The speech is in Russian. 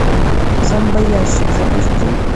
зомбоящик запусти